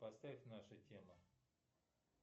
поставь наша тема